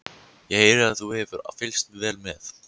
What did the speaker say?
Ég heyri að þú hefur fylgst vel með.